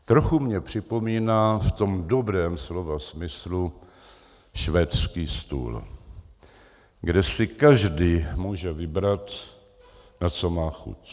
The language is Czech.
Trochu mně připomíná v tom dobrém slova smyslu švédský stůl, kde si každý může vybrat, na co má chuť.